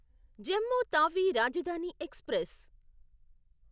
Jammu Tawi Rajdhani express